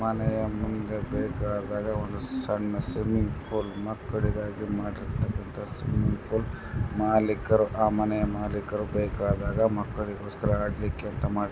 ಮನೆಯ ಮುಂದೆ ಬೇಕಾದಾಗ ಒಂದು ಸಣ್ಣ ಸ್ವಿಮ್ಮಿಂಗ್ ಪೂಲ್ ಮಕ್ಕಳಿಗಾಗಿ ಮಾಡಿರ್ತಕ್ಕಂತ ಸ್ವಿಮ್ಮಿಂಗ್ ಪೂಲ್ ಮಾಲೀಕರು ಆ ಮನೆಯ ಮಾಲೀಕರು ಬೇಕಾದಾಗ ಮಕ್ಕಳಿಗೋಸ್ಕರ ಆಡ್ಲಿಕ್ಕೆ ಅಂತ ಮಾಡಿದು .